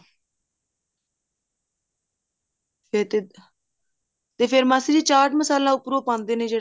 ਫ਼ੇਰ ਤੇ ਮਾਸੀ ਜੀ ਚਾਟ ਮਸਾਲਾ ਉੱਪਰੋਂ ਪਾਉਂਦੇ ਨੇ ਜਿਹੜਾ